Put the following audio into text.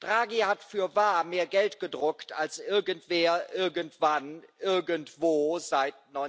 Draghi hat fürwahr mehr Geld gedruckt als irgendwer, irgendwann, irgendwo seit